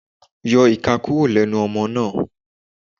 Yọ ìka kúrò lẹ́nu ọmọ náà.